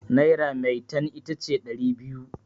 naira metan ita ce dari biyu